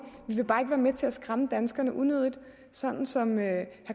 men med til at skræmme danskerne unødigt som som herre